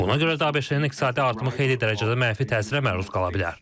Buna görə də ABŞ-nin iqtisadi artımı xeyli dərəcədə mənfi təsirə məruz qala bilər.